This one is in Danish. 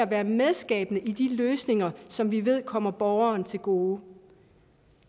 være medskabende i de løsninger som vi ved kommer borgeren til gode